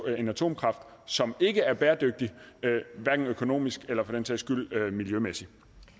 en atomkraft som ikke er bæredygtig hverken økonomisk eller for den sags skyld miljømæssigt